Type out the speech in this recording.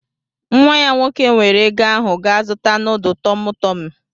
Nwa ya nwoke weere ego ahụ gaa zuta nudu TumuTumu.